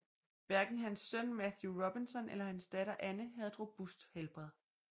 Hverken hans søn Matthew Robinson eller hans datter Anne havde et robust helbred